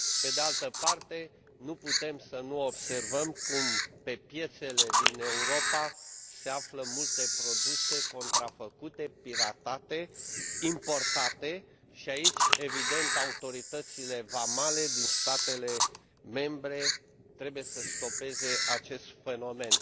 pe de altă parte, nu putem să nu observăm cum, pe piețele din Europa, se află multe produse contrafăcute, piratate, importate și aici, evident, autoritățile vamale din statele membre trebuie să stopeze acest fenomen.